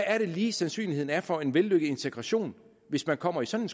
er det lige sandsynligheden er for en vellykket integration hvis man kommer i sådan